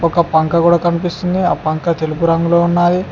ఒక పంక కూడా కనిపిస్తుంది ఆ పంక తెలుపు రంగులో ఉన్నాది.